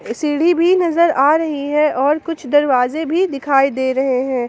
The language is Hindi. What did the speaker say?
सीढ़ी भी नजर आ रही है और कुछ दरवाजे भी दिखाई दे रहे हैं।